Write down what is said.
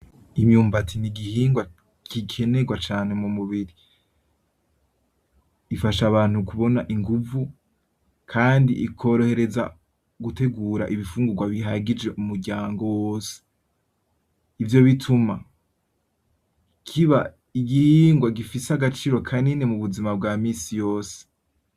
Imyumbati n'igihingwa gikenegwa cane mu mubiri, ifasha abantu kubona inguvu, kandi ikorohereza gutegura ibifungurwa bihagije umuryango wose. Ivyo bituma kiba igihingwa gifise agaciro kanini mu buzima bwa minsi yose.